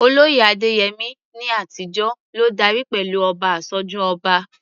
Olóyè Adeyemi, ní àtijọ́, ló darí pẹ̀lú "Oba Asoju Oba."